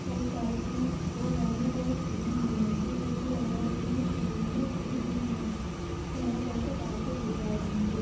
और साइड में दो गाड़िया और खड़ी हुई है| ये ऐसा लग रहा है जेसे कोई शोरूम में खड़ी हुई है| हरा कलर का कारपेट बिछाया है निचे।